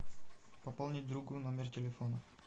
пополнить другу номер телефона